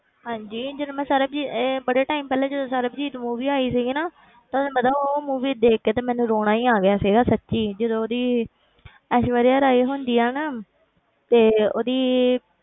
ਹਾਂਜੀ ਜਦੋਂ ਮੈਂ ਸਰਬਜੀਤ ਇਹ ਬੜੇ time ਪਹਿਲੇ ਜਦੋਂ ਸਰਬਜੀਤ movie ਆਈ ਸੀਗੀ ਨਾ ਤੁਹਾਨੂੰ ਪਤਾ ਉਹ movie ਦੇਖਕੇ ਤੇ ਮੈਨੂੰ ਰੋਣਾ ਹੀ ਆ ਗਿਆ ਸੀਗਾ ਸੱਚੀ ਜਦੋਂ ਉਹਦੀ ਐਸ਼ਵਰੀਆ ਰਾਏ ਹੁੰਦੀ ਆ ਨਾ ਤੇ ਉਹਦੀ